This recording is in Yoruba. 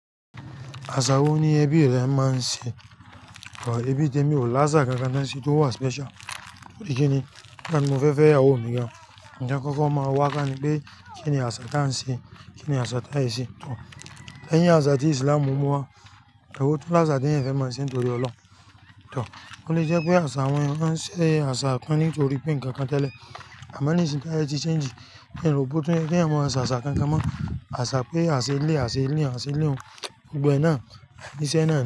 Àṣà wo ni ẹbí rẹ máa ń ṣe? Ẹbí tèmi ò láṣà kankan ton se tó wà special. Torí kíni, nigba ti mo fẹ́ fẹ́ ìyàwó mi gan. Ǹ taa kọ́kọ́ máa wá ká ni pé kíni àsà tá ń ṣe, kíni àsà tá i se. Tọ̀, leyín àsà tí Islam mú wá, ewo tun láṣà teeyan fẹ́ máa ń ṣe nítorí Ọlọ́run. Tọ̀, ó lè jẹ́ pé àṣà àwọn ènìyàn maa n se àṣà kan nítorí pé ǹkan kan tẹ́lẹ̀, àmọ́ nísìn tí áyẹ ti change, n ro bo tún yẹ́ keeyan mọo s'àṣà kankan mọ́. Àṣà pé aa ṣe eleyi, aa ṣe eleyi, aa ṣe eleyi un. Gbogbo e náà, ìṣe náà ni.